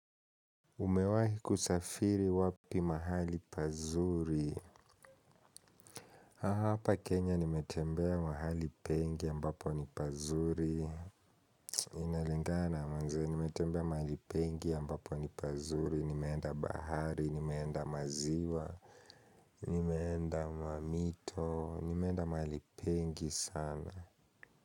Umewahi kusafiri wapi mahali pazuri? Hapa kenya nimetembea mahali pengi ambapo ni pazuri inalingana manze nimetembea mahali pengi ambapo ni pazuri nimeenda bahari nimeenda maziwa nimeenda mamito nimeenda mahali pengi sana.